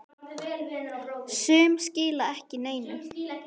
Sum skila ekki neinu.